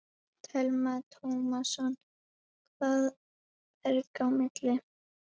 Telma Tómasson: Hvað ber í milli?